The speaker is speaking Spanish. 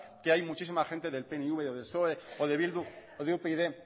que hay muchísima gente del pnv del psoe de bildu o upyd